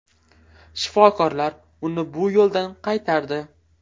Shifokorlar uni bu yo‘ldan qaytardi.